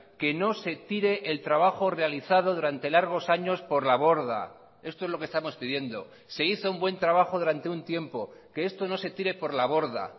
que no se tire el trabajo realizado durante largos años por la borda esto es lo que estamos pidiendo se hizo un buen trabajo durante un tiempo que esto no se tire por la borda